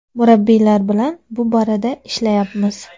Murabbiylar bilan bu borada ishlayapmiz.